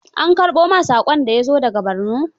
An karɓo ma saƙon da ya zo da ga Borno?